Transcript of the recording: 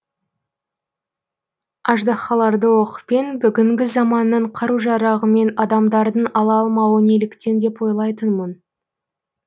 аждаһаларды оқпен бүгінгі заманның қару жарағымен адамдардың ала алмауы неліктен деп ойлайтынмын